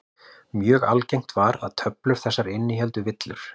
Mjög algengt var að töflur þessar innihéldu villur.